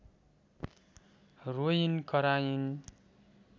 रोइन् कराइन्